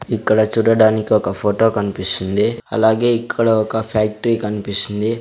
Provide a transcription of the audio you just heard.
ఇక్కడ చూడడానికి ఒక ఫోటో కనిపిస్తుంది అలాగే ఇక్కడ ఒక ఫ్యాక్టరీ కనిపిస్తుంది.